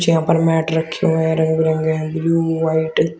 यहां पर मैट रखे हुए हैं रंग बिरंगे हैं ब्लू व्हाइट --